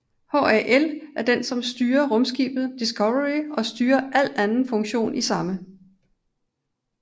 HAL er den som styrer rumskibet Discovery og styrer al anden funktion i samme